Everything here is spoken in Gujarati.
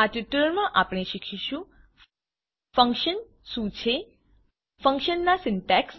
આ ટ્યુટોરીયલમાં આપણે શીખીશું ફંક્શન શું છે ફંક્શનનાં સિન્ટેક્ષ